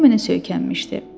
O mənə söykənmişdi.